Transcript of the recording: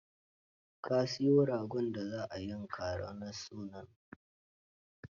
Ka siyo ragon da za a yanka ranar sunan.